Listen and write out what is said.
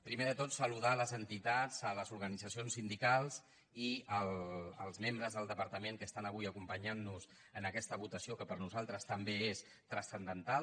primer de tot saludar les entitats les organitzacions sindicals i els membres del departament que estan avui acompanyant nos en aquesta votació que per nosaltres també és transcendental